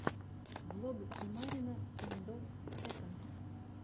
влог тимарина стэндофф секонд